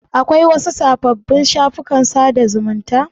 Akwai wasu sababbin shafukan sada zumunta?